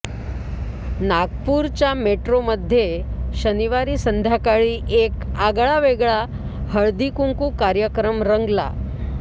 नागपूरच्या मेट्रोमध्ये शनिवारी संध्याकळी एक आगळा वेगळा हळदीकुंकू कार्यक्रम रंगला